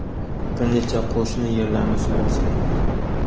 bir necha qo‘shni yerlarni suv bosgan.